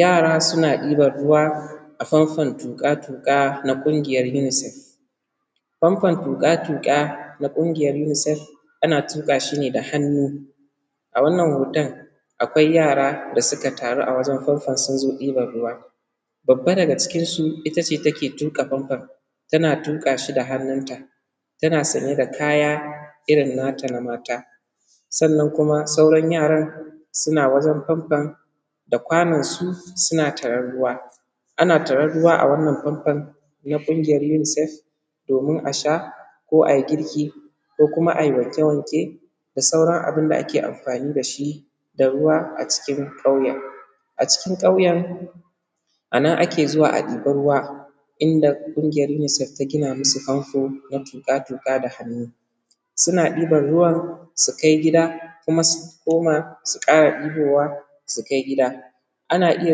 Yara suna ɗiban ruwa a fanfon tuƙa-tuƙa na ƙungiyan unisef, fanfan tuƙa-tuƙa na ƙungiyan unisef ana tuƙa shi ne da hannu. A wannan hoton akwai yara da suka taru a wajen fanfon sun zo ɗiban ruwa, babba daga cikinsu ita ce take tuƙa fanfon tana tuƙa shi da hannunta, tana sanye da kaya irin nata na mata sannan kuma sauran yaran suna wajen fanfon da kwanonsu suna taron ruwa. Ana taran ruwa a wannan fanfon na ƙungiyan uniesf domin a sha ko a yi girki ko a yi wanke-wanke da sauran abun da ake amfani da shi da ruwa, a cikin ƙyauyen a cikin ƙauyen a nan ake zuwa a ɗeba ruwa inda ƙungiyan unisef ta gina musu fanfo na tuƙa-tuƙa da hannu suna ɗiban ruwa su kai gida kuma su koma su ƙara ɗibowa, sukai gida ana iya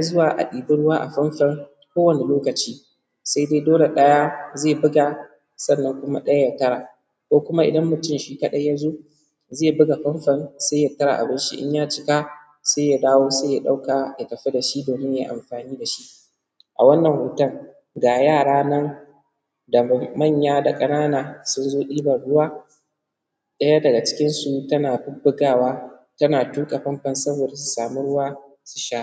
zuwa a ɗiba ruwa a fanfon ko wani lokaci. Se dai dole ɗaya ze buga sannan kuma ɗaya ya tara ko kuma idan mutum shi ka ɗai ya zo ze buga fanfon se ya tara abun shi in ya cika se ya dawo, se ya ɗauka ya tafi da shi domin yayi amfani da shi. A wannan hoton ga yara nan da manya da ƙanana sun zo ɗiban ruwa ɗaya daga cikinsu tana bubbugawa tana tuƙa fanfon saboda ta samu ruwa su sha.